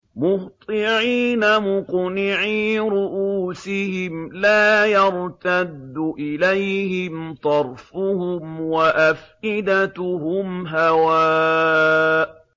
مُهْطِعِينَ مُقْنِعِي رُءُوسِهِمْ لَا يَرْتَدُّ إِلَيْهِمْ طَرْفُهُمْ ۖ وَأَفْئِدَتُهُمْ هَوَاءٌ